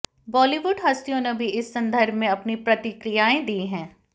बॉलीवुड हस्तियों ने भी इस संदर्भ में अपनी प्रतिक्रियाएं दी हैं